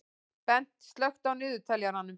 Bent, slökktu á niðurteljaranum.